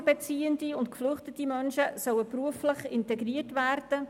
Sozialhilfebeziehende und geflüchtete Menschen sollen beruflich integriert werden.